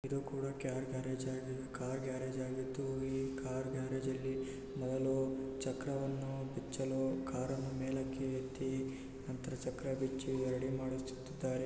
ಇದು ಕೂಡ car garage ಆಗಿ ಕಾರ್ ಗ್ಯಾರೇಜ್ ಆಗಿದ್ದು ಕಾರ್ ಗ್ಯಾರೇಜ್ ಅಲ್ಲಿ ಮೊದಲು ಚಕ್ರವನ್ನು ಬಿಚ್ಚಲು ಕಾರನ್ನು ಮೇಲಕ್ಕೆ ಎತ್ತಿ ನಂತರ ಚಕ್ರ ಬಿಚ್ಚಿ ರೆಡಿ ಮಾಡಿಸುತಿದ್ದಾರೆ.